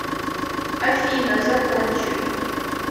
афина закончили